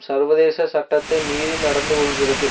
சர்வதேச சட்டத்தை மீறி நடந்து கொள்கிறது